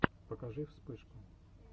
покажи вспышку